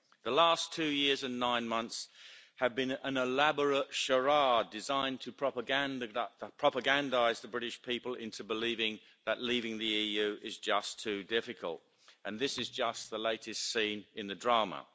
The last two years and nine months have been an elaborate charade designed to propagandise the British people into believing that leaving the EU is just too difficult, and this is just the latest scene in the drama.